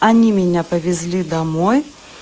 они меня повезли домой